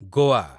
Goa